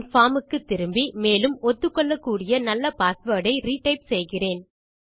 என் form க்கு திரும்பி மேலும் என் ஒத்துக்கொள்ளக்கூடிய நல்ல பாஸ்வேர்ட் ஐ ரிடைப் செய்கிறேன்